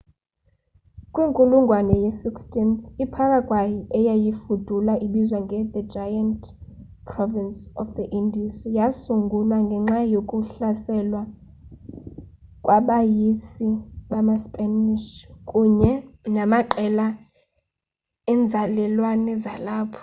kwinkulungwane ye-16th iparaguay eyayifudula ibizwa nge the giant province of the indies yasungulwa ngenxa yokuhlaselwa kwabeyisi bamaspanish kunye namaqela enzalelwane zalapho